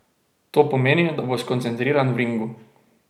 To pomeni, da bo skoncentriran v ringu.